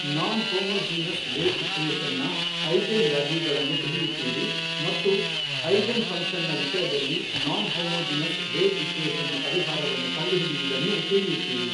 ನಾನ್ homogeneous wave equation ನ eigenvalue ಗಳನ್ನು ತಿಳಿಯುತ್ತೀರಿ ಮತ್ತು ಐಗೆನ್ ಫಂಕ್ಷನ್ ನ ವಿಷಯದಲ್ಲಿ ನಾನ್ ಹೋಮೋಜಿನಸ್ ವೇವ್ ಈಕ್ವೆಷನ್ ನ ಪರಿಹಾರವನ್ನು ಕಂಡು ಹಿಡಿಯುವುದನ್ನೂ ತಿಳಿಯುತ್ತೀರಿ.